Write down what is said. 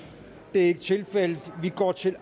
det er ikke tilfældet og vi går til